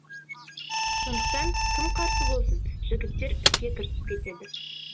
сондықтан кім қарсы болсын жігіттер іске кірісіп кетеді